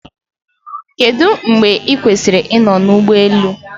Kedụ mgbe i kwesịrị ịnọ na ụlọ ụgbọ elu?